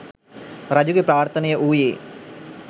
රජුගේ ප්‍රාර්ථනය වූයේ